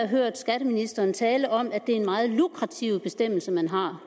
hørt skatteministeren tale om at det er en meget lukrativ bestemmelse man har